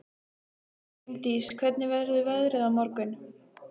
Ingdís, hvernig verður veðrið á morgun?